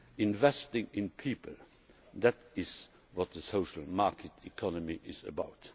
Investing in people that is what the social market economy is about.